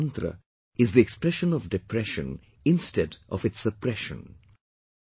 The first mantra is the expression of depression instead of its suppression